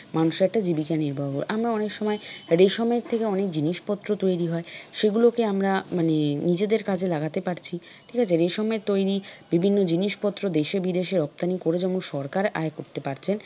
মানুষের একটা জীবিকা নির্বাহ আমরা অনেক সময় রেশমের থেকে অনেক জিনিসপত্র তৈরি হয় সেগুলোর আমরা মানে নিজেদের কাজে লাগাতে পারছি ঠিক আছে? রেশমের তৈরি বিভিন্ন জিনিস পত্র দেশে বিদেশে রপ্তানি করে যেমন সরকার আয় করতে পারছেন,